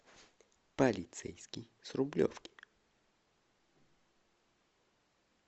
полицейский с рублевки